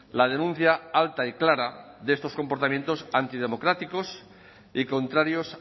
la denuncia alta y clara de estos comportamientos antidemocráticos y contrarios